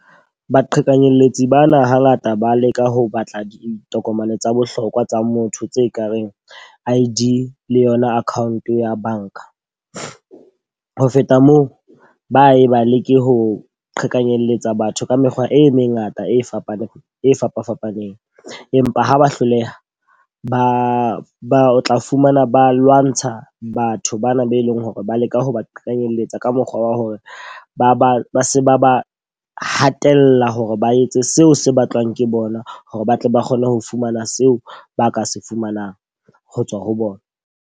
Baqhekanyetsi bana ha ngata ba leka ho batla ditokomane tsa bohlokwa tsa motho tse ka reng I_D le yona account ya banka. Ho feta moo, ba e ba leke ho qhekanyetsa batho ka mekgwa e mengata e fapaneng e fapafapaneng. Empa ha ba hloleha, ba ba tla fumana ba lwantsha batho bana be leng hore ba leka ho ba qekanyelletsa ka mokgwa wa hore ba ba ba se ba ba hatella hore ba etse seo se batlwang ke bona hore ba tle ba kgone ho fumana seo ba ka se fumanang ho tswa ho bona.